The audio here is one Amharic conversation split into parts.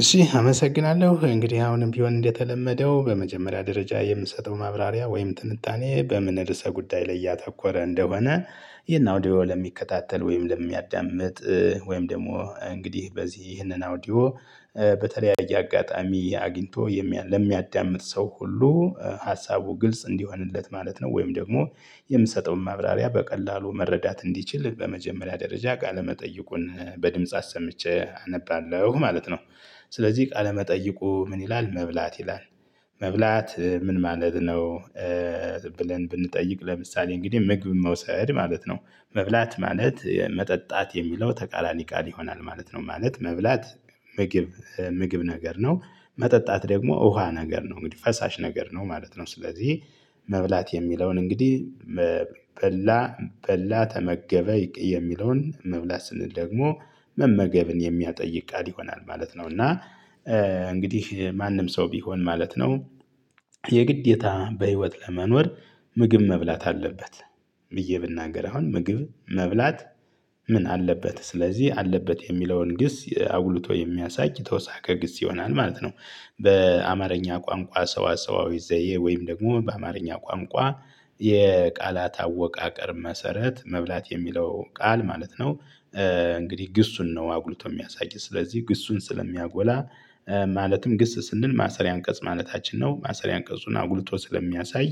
እሺ አመሰግናለሁ እንግዲህ አሁንም ቢሆን እንደተለመደው በመጀመሪያ ደረጃ የምሰጠው ማብራሪያ ወይም ትንታኔ በምን ርዕሰ ጉዳይ ላይ ያተኮረ እንደሆነ ይህን አውዲዮ ለሚከታተል ወይም ለሚያዳምጥ ወይም ደግሞ እንግዲህ በዚህ ይህንን አውዲዮ በተለያየ አጋጣሚ አግኝቶ የሚያ ለሚያዳምጥ ሰው ሁሉ ሀሳቡ ግልጽ እንዲሆንለት ማለት ነው። ወይም ደግሞ የምሰጠውን ማብራሪያ በቀላሉ መረዳት እንዲችል በመጀመሪያ ደረጃ ቃለመጠይቁን በድምጽ አሰምቼ አነባለሁ ማለት ነው። ስለዚህ ቃለመጠይቁ ምን ይላል መብላት ይላል። መብላት ምን ማለት ነው? ብለን ብንጠይቅ ለምሳሌ እንግዲህ ምግብን መውሰድ ማለት ነው። መብላት ማለት መጠጣት የሚለው ተቃራኒ ቃል ይሆናል ማለት ነው ማለት መብላት። ምግብ ምግብ ነገር ነው። መጠጣት ደግሞ ውሃ ነገር ነው እንግዲህ ፈሳሽ ነገር ነው ማለት ነው። ስለዚህ መብላት የሚለውን እንግዲህ መ በላ በላ ተመገበ ይገ የሚለውን መብላት ስንል ደግሞ መመገብን የሚያጠይቅ ቃል ይሆናል ማለት ነው። እና እንግዲህ ማንም ሰው ቢሆን ማለት ነው። የግዴታ በህይወት ለመኖር ምግብ መብላት አለበት። ብዬ ብናገር አሁን ምግብ መብላት ምን አለበት ስለዚህ አለበት የሚለውን ግስ አጉልቶ የሚያሳይ ተውሳከ ግስ ይሆናል ማለት ነው። በአማርኛ ቋንቋ ሰዋሰዋዊ ዘዬ ወይም ደግሞ በአማርኛ ቋንቋ። የቃላት አወቃቀር መሰረት መብላት የሚለው ቃል ማለት ነው። እንግዲህ ግሱን ነው አጉልቶ ሚያሳይ ስለዚህ ግሱን ስለሚያጎላ ማለትም ግስ ስንል ማሰሪያ አንቀጽ ማለታችን ነው ማሰሪያ አንቀጹን አጉልቶ ስለሚያሳይ።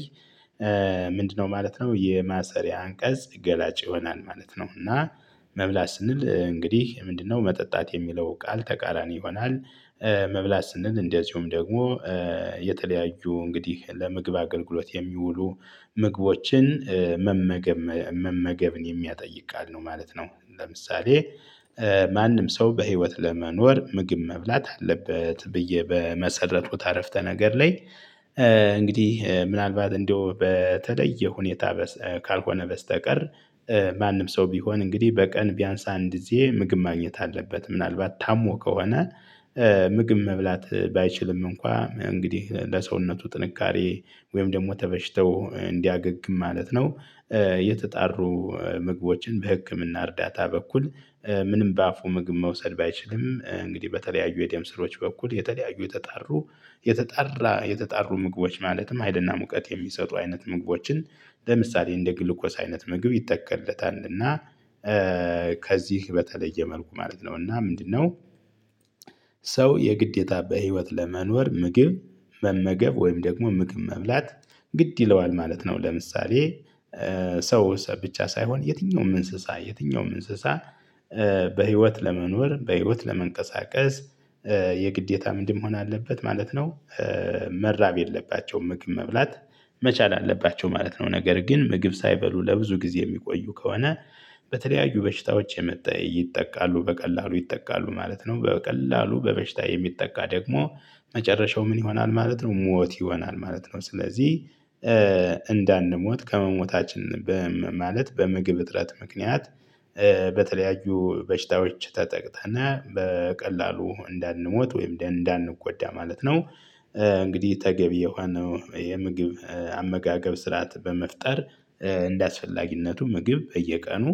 ምንድነው? ማለት ነው የማሰሪያ አንቀጽ ገላጭ ይሆናል ማለት ነው። እና መብላት ስንል እንግዲህ ምንድነው መጠጣት የሚለው ቃል ተቃራኒ ይሆናል። መብላት ስንል እንደዚሁም ደግሞ የተለያዩ እንግዲህ ለምግብ አገልግሎት የሚውሉ ምግቦችን መመገብም መመገብን የሚያጠይቅ ቃል ነው ማለት ነው። ለምሳሌ ማንም ሰው በህይወት ለመኖር ምግብ መብላት አለበት ብዬ በመሰረትኩት አረፍተነገር ላይ። እንግዲህ ምናልባት እንደው በተለየ ሁኔታ በስ ካልሆነ በስተቀር። ማንም ሰው ቢሆን እንግዲህ በቀን ቢያንስ አንድ ጊዜ ምግብ ማግኘት አለበት ምናልባት ታሞ ከሆነ ምግብ መብላት ባይችልም እንኳ እንግዲህ ለሰውነቱ ጥንካሬ ወይም ደግሞ ተበሽታው እንዲያገግም ማለት ነው። የተጣሩ ምግቦችን በህክምና እርዳታ በኩል። ምንም በአፉ ምግብ መውሰድ ባይችልም እንግዲህ በተለያዩ የደም ስሮች በኩል የተለያዩ የተጣሩ የተጣራ የተጣሩ ምግቦች ማለትም ሀይል እና ሙቀት የሚሰጡ አይነት ምግቦችን ለምሳሌ እንደ ግሉኮስ አይነት ምግብ ይተከለታል እና። ከዚህ በተለየ መልኩ ማለት ነው እና ምንድነው? ሰው የግዴታ በህይወት ለመኖር ምግብ መመገብ ወይም ደግሞ ምግብ መብላት ግድ ይለዋል ማለት ነው። ለምሳሌ ሰው ሰ ብቻ ሳይሆን የትኛውም እንስሳ የትኛውም እንስሳ በህይወት ለመኖር በህይወት ለመንቀሳቀስ የግዴታ ምንድን መሆን አለበት ማለት ነው። መራብ የለባቸውም ምግብ መብላት መቻል አለባቸው ማለት ነው። ነገር ግን ምግብ ሳይበሉ ለብዙ ጊዜ የሚቆዩ ከሆነ። በተለያዩ በሽታዎች የመጣ ይጠቃሉ በቀላሉ ይጠቃሉ ማለት ነው። በቀላሉ በበሽታ የሚጠቃ ደግሞ መጨረሻው ምን ይሆናል ማለት ነው። ሞት ይሆናል ማለት ነው። ስለዚህ እንዳንሞት ከመሞታችን በም ማለት በምግብ እጥረት ምክንያት በተለያዩ በሽታዎች ተጠቅተነ በቀላሉ እንዳንሞት ወይም እንደ እንዳንጎዳ ማለት ነው። እንግዲህ ተገቢ የሆነው የምግብ አመጋገብ ስርዓት በመፍጠር። እንደአስፈላጊነቱ ምግብ በየቀኑ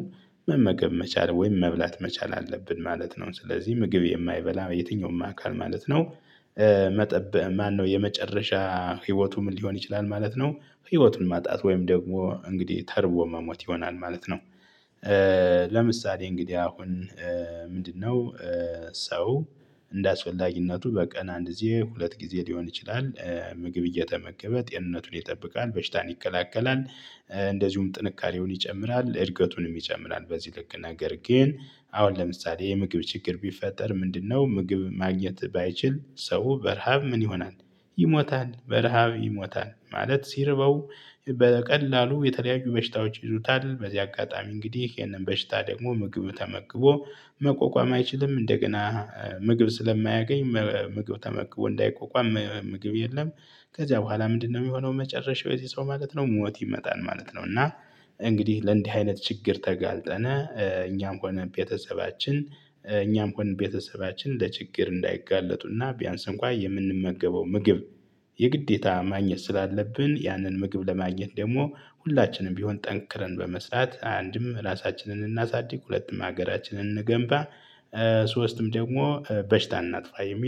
መመገብ መቻል ወይም መብላት መቻል አለብን ማለት ነው። ስለዚህ ምግብ የማይበላ የትኛውም አካል ማለት ነው። መጠብ ማነው? የመጨረሻ ህይወቱ ምን ሊሆን ይችላል ማለት ነው ህይወቱን ማጣት ወይም ደግሞ እንግዲህ ተርቦ መሞት ይሆናል ማለት ነው። ለምሳሌ እንግዲህ አሁን ምንድነው? ሰው እንደአስፈላጊነቱ በቀን አንድ ጊዜ ሁለት ጊዜ ሊሆን ይችላል ምግብ እየተመገበ ጤንነቱን ይጠብቃል በሽታን ይከላከላል። እንደዚሁም ጥንካሬውን ይጨምራል እድገቱንም ይጨምራል በዚህ ልክ ነገር ግን። አሁን ለምሳሌ የምግብ ችግር ቢፈጠር ምንድነው ምግብ ማግኘት ባይችል ሰው በረሃብ ምን ይሆናል? ይሞታል በረሃብ ይሞታል ማለት ሲርበው በቀላሉ የተለያዩ በሽታዎች ይይዙታል። በዚህ አጋጣሚ እንግዲህ ይሄንን በሽታ ደግሞ ምግብ ተመግቦ መቋቋም አይችልም እንደገና ምግብ ስለማያገኝ መ ምግብ ተመግቦ እንዳይቋቋም ምግብ የለም። ከዚያ በኋላ ምንድነው? ሚሆነው መጨረሻው የዚ ሰው ማለት ነው ሞት ይመጣል ማለት ነው። እና እንግዲህ ለእንዲህ አይነት ችግር ተጋልጠነ እኛም ሆነ ቤተሰባችን። እኛም ሆን ቤተሰባችን ለችግር እንዳይጋለጡ እና ቢያንስ እንኳ የምንመገበው ምግብ የግዴታ ማግኘት ስላለብን ያንን ምግብ ለማግኘት ደግሞ ሁላችንም ቢሆን ጠንክረን በመስራት አንድም ራሳችንን እናሳድግ ሁለትም ሀገራችንን እንገንባ። ሶስትም ደግሞ በሽታ እናጥፋ የሚል